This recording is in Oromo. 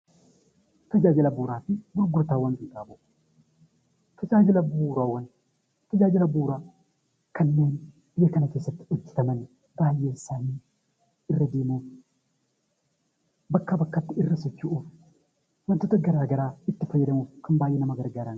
Tajaajila bu'uuraa fi gurgurtaa qinxaaboo. Tajaajila bu'uuraa kanneen biyya kana keessatti bakkaa bakkatti irra socho'uuf kan baayyee nama gargaaraniidha.